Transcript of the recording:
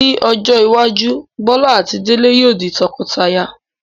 Ní ọjọ́ iwájú, Bọ́lá àti Délé yóò di tọkọtaya